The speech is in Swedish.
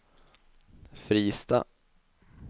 Fristad